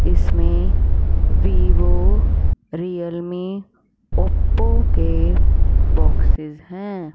इसमें Vivo Realme Oppo के boxes हैं।